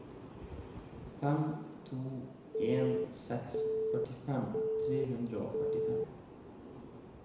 fem to en seks førtifem tre hundre og førtifem